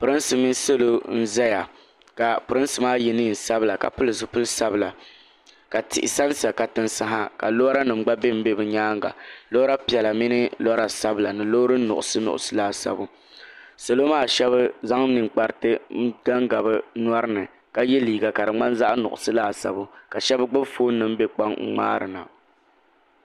Pirinsi mini salo n zaya ka pirinsi maa yɛ niɛn sabila ka pili zipili sabila ka tihi sa n sa katinsi ha ka lɔra nim gba bɛ n bɛ bi nyaanga lɔra piɛla mini lɔra sabila ni loori nuɣusu nuɣusu laasabu salo maa shɛba zaŋ ninkpariti n ga n ga bi nyɔri ni ka yɛ liiga ka di ŋmani zaɣa nuɣusu laasabu ka shɛba gbubi fooni nim n bɛ kpaŋ n ŋmaari na.